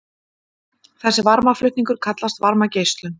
þessi varmaflutningur kallast varmageislun